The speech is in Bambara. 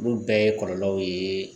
Olu bɛɛ ye kɔlɔlɔw ye